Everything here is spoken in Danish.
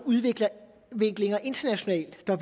udviklinger internationalt der